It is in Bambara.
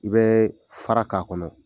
I bɛ fara k'a kɔnɔ .